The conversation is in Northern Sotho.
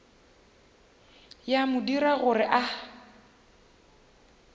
ya mo dira gore a